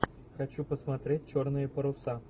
хочу посмотреть черные паруса